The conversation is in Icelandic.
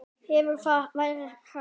Hefur það verið rætt?